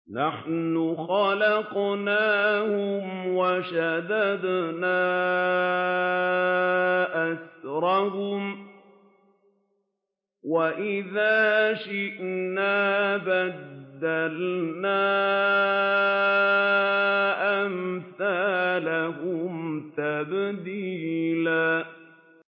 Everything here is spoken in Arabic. نَّحْنُ خَلَقْنَاهُمْ وَشَدَدْنَا أَسْرَهُمْ ۖ وَإِذَا شِئْنَا بَدَّلْنَا أَمْثَالَهُمْ تَبْدِيلًا